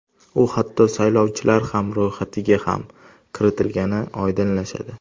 U hatto saylovchilar ham ro‘yxatiga ham kiritilgani oydinlashadi.